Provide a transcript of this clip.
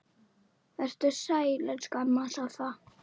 Vertu sæl, elsku amma Soffa.